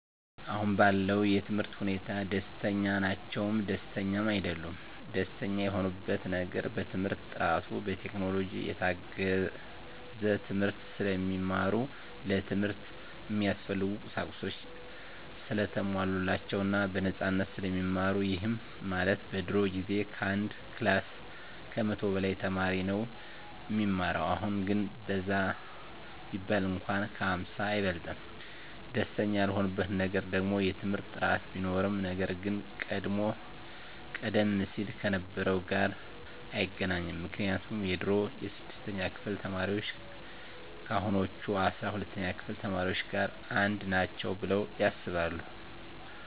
አሁን ባለው የትምህርት ሁኔታ ደስተኛ ናቸውም ደስተኛም አይደሉምም። ደስተኛ የሆኑበት ነገር በትምህርት ጥራቱ፣ በቴክኖሎጂ የታገዘ ትምህርት ስለሚማሩ፣ ለትምህርት እሚያስፈልጉ ቁሳቁሶች ሰለተሟሉላቸው እና በነፃነት ስለሚማሩ ይህም ማለት በድሮ ጊዜ ከአንድ ክላስ ከመቶ በላይ ተማሪ ነው እሚማረው አሁን ግን በዛ ቢባል እንኳን ከ ሃምሳ አይበልጥም። ደስተኛ ያልሆኑበት ነገር ደግሞ የትምህርት ጥራት ቢኖርም ነገር ግን ቀደም ሲል ከነበረው ጋር አይገናኝም ምክንያቱም የድሮ የስድስተኛ ክፍል ተማሪዎች ከአሁኖቹ አስራ ሁለተኛ ክፍል ተማሪዎች ጋር አንድ ናቸው ብለው ያስባሉ።